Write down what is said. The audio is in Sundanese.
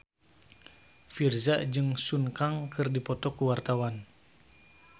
Virzha jeung Sun Kang keur dipoto ku wartawan